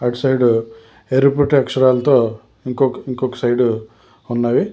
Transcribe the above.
అటు సైడు ఎరుపుటి అక్షరాలతో ఇంకొక సైడు ఉన్నవి.